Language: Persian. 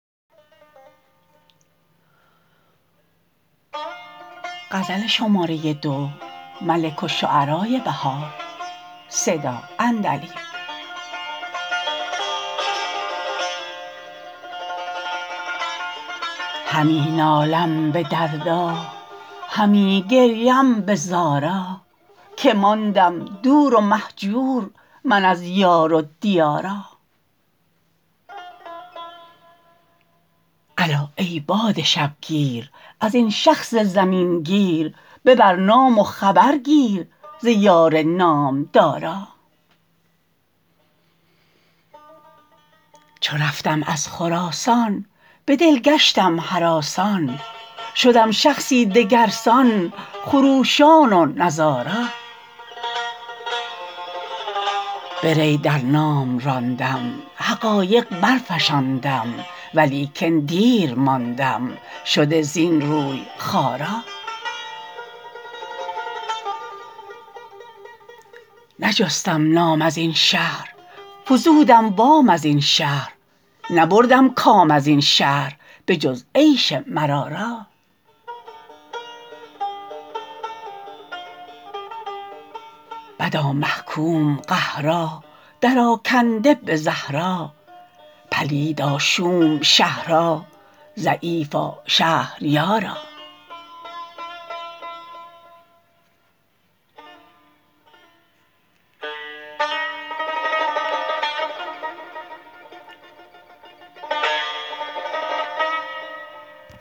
همی نالم به دردا همی گریم به زارا که ماندم دور و مهجور من از یار و دیارا الا ای باد شبگیر ازین شخص زمین گیر ببر نام و خبر گیر ز یار نامدارا چو رفتم از خراسان به دل گشتم هراسان شدم شخصی دگرسان خروشان و نزارا به ری در نام راندم حقایق برفشاندم ولیکن دیر ماندم شده زین روی خوارا نجستم نام ازین شهر فزودم وام از این شهر نبردم کام ازین شهر به جز عیش مرارا بدا محکوم قهرا درآکنده به زهرا پلیدا شوم شهرا ضعیفا شهریارا